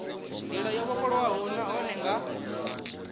ndila yo vhofholowaho nahone nga